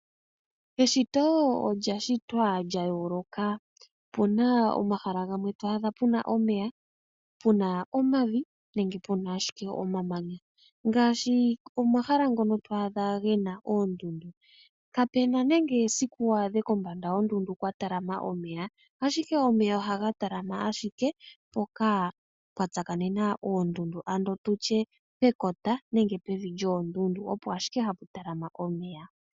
Eshito olya shitwa lya yooloka . Opu na omahala gamwe to adha pu na omeya, pu na omavi nenge pu na ashike omamanya. Ngaashi omahala ngono to adha ge na oondundu kapu na nenge esiku waadhe kombanda yoondundu kwa talama omeya, ashike omeya ohaga talama mpoka pwa tsakanena oondundu, ano tu tye pekota nenge pevi lyoondundu opo ashike hapu talama omeya.